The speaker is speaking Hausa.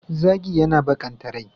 Zagi yana baƙanta rai.